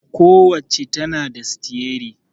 Ku wacca tana da sitiyari